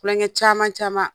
Klonkɛ caman caman.